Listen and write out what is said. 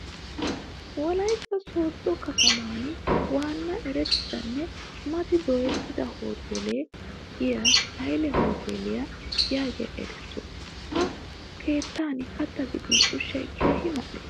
Wolaytta sooddo kataman waanna erettidanne mati dooyettida hoteele gidiya haile hoteliya yaagiya erissuwa. Ha keettan kattaa gidin ushshay keehi mal'ees.